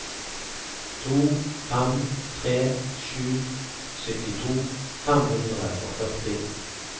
to fem tre sju syttito fem hundre og førti